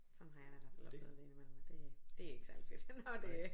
Sådan har jeg da i hvert fald oplevet det ind i mellem at det det er ikke særlig fedt når det